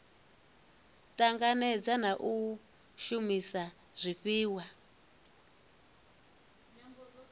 tanganedza na u shumisa zwifhiwa